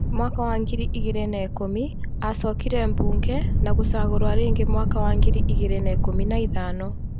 Mwaka wa ngiri igĩri na ikumi acokire bunge na gũcagurwo rĩngĩ mwaka wa ngiri igĩri na ikumi na ithano